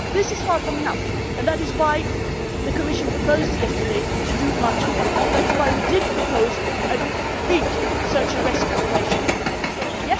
Now this is far from enough, and that is why the Commission proposed yesterday to do much more. That is why we proposed a big search and rescue operation in the Mediterranean.